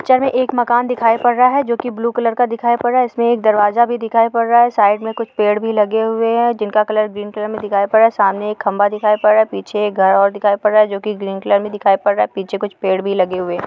इस पिक्चर में एक मकान दिखाई पड़ रहा है जो कि ब्लू कलर का दिखाई पड़ रहा है। इसमें एक दरवाजा भी दिखाई पड़ रहा है साइड में कुछ पेड़ भी लगे हुए है जिनका कलर ग्रीन कलर में दिखाई पड रहा है। सामने एक खम्भा दिखाई पड़ रहा है पीछे एक घर और दिखाई पड़ रहा है जो ग्रीन कलर में दिखाई पड़ रहा है। पीछे कुछ पेड़ भी लगे हुए है।